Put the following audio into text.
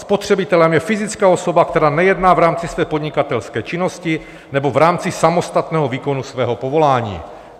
Spotřebitelem je fyzická osoba, která nejedná v rámci své podnikatelské činnosti nebo v rámci samostatného výkonu svého povolání.